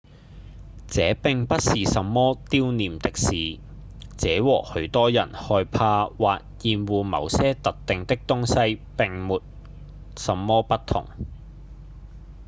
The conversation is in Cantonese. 這並不是什麼丟臉的事：這和許多人害怕或厭惡某些特定的東西沒什麼不同